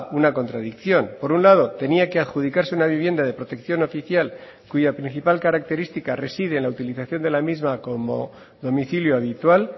una contradicción por un lado tenía que adjudicarse una vivienda de protección oficial cuya principal característica reside en la utilización de la misma como domicilio habitual